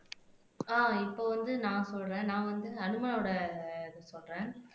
ஆஹ் இப்ப வந்து நான் சொல்றேன் நான் வந்து ஹனுமனோட இது சொல்றேன்